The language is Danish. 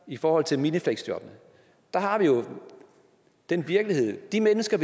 i forhold til minifleksjobbene har vi jo den virkelighed at de mennesker